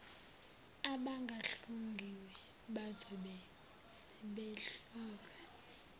abangahlungiwe bazobe sebehlolwa